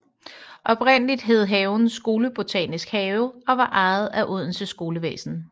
Oprindeligt hed haven Skolebotanisk have og var ejet af Odense Skolevæsen